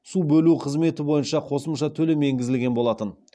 су бөлу қызметі бойынша қосымша төлем енгізілген болатын